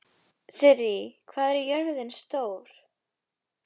Sirrí, hvað er jörðin stór?